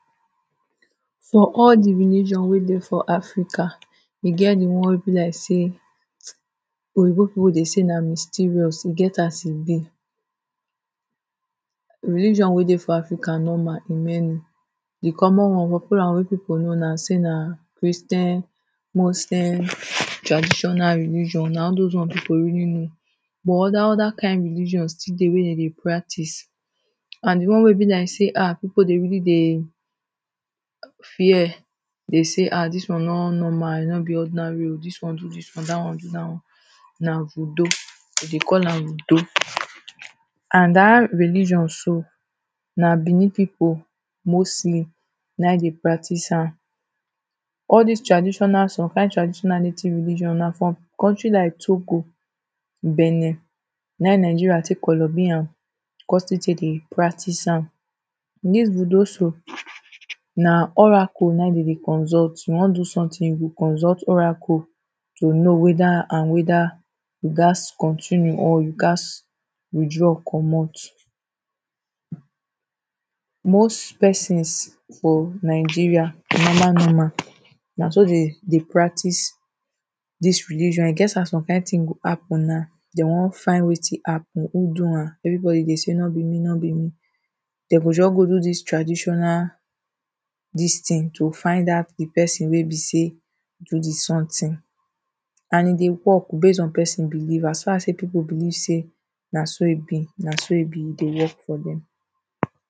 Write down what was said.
For all the religion wey dey for africa, e get the one wey be like sey Oyinbo people dey sey na mysterious. E get as e be. religion wey dey for africa normal e many. The common one, the popular wey people know na sey na christian, muslim, traditional religion. Na all dos one people really know. But other other kind religion still dey wey dem dey practice. And the one wey be like sey um people dey really dey fear be sey ha! dis one no normal. E no be ordinary oh. Dis one do dis one, dat one do dat one. Na voodoo, dem dey call am voodoo. And dat religion so na Benin people mostly na im dey practice am. All dis traditional, some kind traditional native religion na from country like Togo, Benin, na im Nigeria take koloby am. Con still take dey practice am. Dis voodoo so na oracle na im dem dey consult. If you wan do something you go consult oracle to know whether and whether you gats continue or you gats withdraw comot. Most persons for Nigeria normal normal, na so dey dey practice dis religion. E get as some kind thing go happen now, dem wan find wetin happen. Who do am? Everybody dey sey no be me no be me. De go just go do dis traditional dis thing to find out the person wey be sey do de something. And e dey work base on person belief. As fas as people believe sey na so e be, na so e be. E dey work for dem.